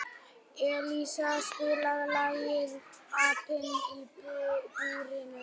Elíeser, spilaðu lagið „Apinn í búrinu“.